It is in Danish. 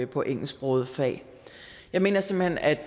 på engelsksprogede fag jeg mener simpelt hen at